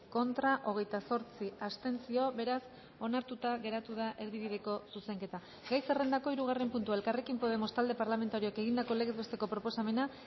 contra hogeita zortzi abstentzio beraz onartuta geratu da erdibideko zuzenketa gai zerrendako hirugarren puntua elkarrekin podemos talde parlamentarioak egindako legez besteko proposamena